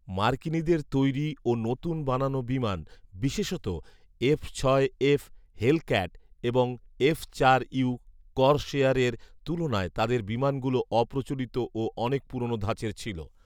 মার্কিনীদের তৈরী ও নতুন বানানো বিমান বিশেষত, "এফ ছয় এফ হেলক্যাট" এবং "এফ চার ইউ করসেয়ারের" তুলনায় তাদের বিমানগুলো অপ্রচলিত ও অনেক পুরনো ধাঁচের ছিল